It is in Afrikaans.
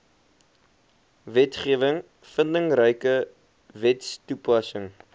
wetgewing vindingryke wetstoepassing